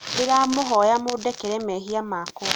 ndĩramũhoya mũndekere mehia makwa